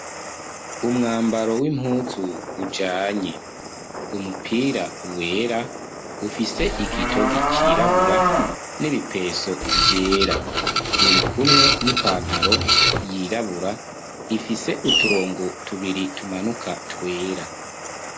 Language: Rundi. Umwambaro w'impuzu ujanye. Umupira wera ufise igotogi cirabura nibipenso vyera, urikumwe n'ipantaro yirabura ifise uturongo tubiri tumanuka twera.